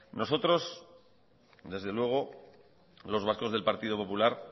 nosotros desde luego los vascos del partido popular